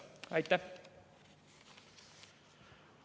Aitäh!